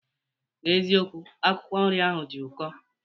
N'ezikokwu, akwụkwọ nri ahụ dị ụkọ.